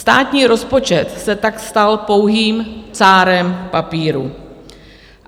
Státní rozpočet se tak stal pouhým cárem papíru.